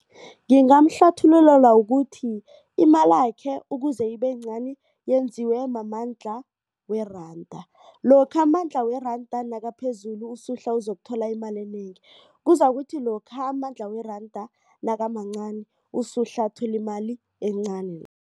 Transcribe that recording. Ngingamhlathululela ukuthi imalakhe ukuze ibeyincani yenziwe mamandla weranda. Lokha amandla weranda nakaphezulu uSuhla uzokuthola imali enengi. Kuzakuthi lokha amandla weranda nakamancani uSuhla athole imali encani.